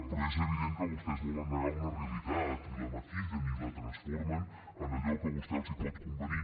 però és evident que vostès volen negar una realitat i la maquillen i la transformen en allò que a vostès els pot convenir